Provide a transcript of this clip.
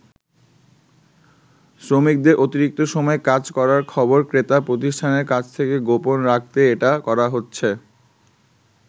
শ্রমিকদের অতিরিক্ত সময় কাজ করার খবর ক্রেতা প্রতিষ্ঠানের কাছ থেকে গোপন রাখতেই এটা করা হচ্ছে।